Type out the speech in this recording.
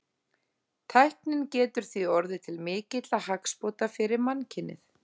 Tæknin getur því orðið til mikilla hagsbóta fyrir mannkynið.